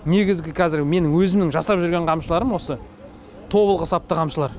негізі қазір менің өзімнің жасап жүрген қамшыларым осы тобылғы сапты қамшылар